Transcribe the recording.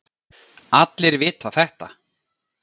Allir vita þetta.